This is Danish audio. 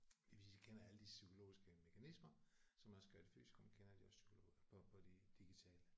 Fordi hvis de kender alle de psykologiske mekanismer som også gør de fysiske og man kender de også psykologiske og de digitale